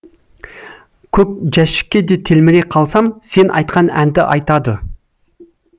көк жәшікке де телміре қалсам сен айтқан әнді айтады